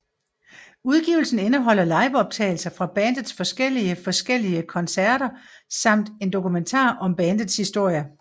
Udgivelsen indeholder liveoptagelser fra bandets forskellige forskellige koncerter samt en dokumentar om bandets historie